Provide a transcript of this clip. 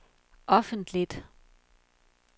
offentligt